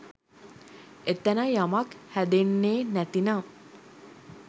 එතැන යමක් හැදෙන්නේ නැතිනම්